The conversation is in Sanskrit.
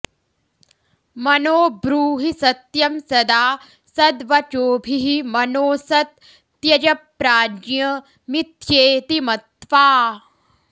मनो ब्रूहि सत्यं सदा सद्वचोभिः मनोऽसत् त्यज प्राज्ञ मिथ्येति मत्वा